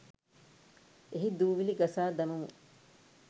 එහි දූවිලි ගසා දමමු